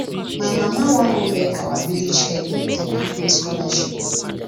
my mama wan go beg our village head make dey give me scholarship